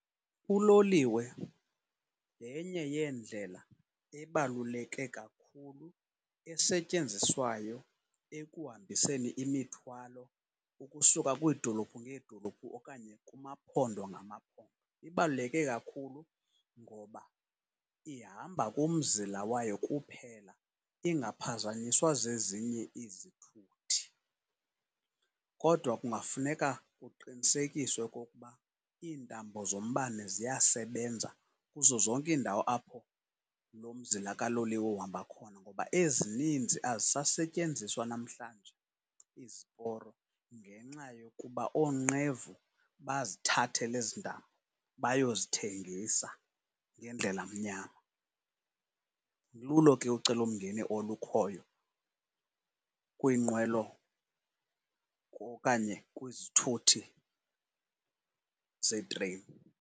Uloliwe yenye yeendlela ebaluleke kakhulu esetyenziswayo ekuhambiseni imithwalo ukusuka kwiidolophu ngeedolophu okanye kumaphondo ngamaphondo. Ibaluleke kakhulu ngoba ihamba kumzila wayo kuphela ingaphazanyiswa zezinye izithuthi, kodwa kungafuneka kuqinisekiswe okokuba iintambo zombane ziyasebenza kuzo zonke iindawo apho lomzila kaloliwe uhamba khona, ngoba ezininzi azisasetyenziswa namhlanje iziporo ngenxa yokuba oonqevu bazithathela ezi ntambo bayozithengisa ngendlela mnyama. Lulo ke ucelomngeni olukhoyo kwiinqwelo okanye kwizithuthi zeetreyini.